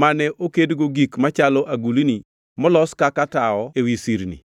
mane okedgo gik machalo agulni molos kaka tawo ewi sirni);